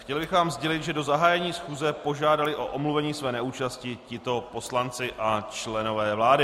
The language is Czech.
Chtěl bych vám sdělit, že do zahájení schůze požádali o omluvení své neúčasti tito poslanci a členové vlády: